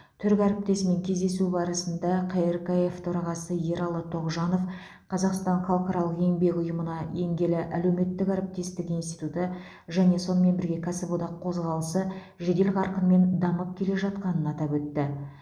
түрік әріптесімен кездесу барысында қркф төрағасы ералы тоғжанов қазақстан халықаралық еңбек ұйымына енгелі әлеуметтік әріптестік институты және сонымен бірге кәсіподақ қозғалысы жедел қарқынмен дамып келе жатқанын атап өтті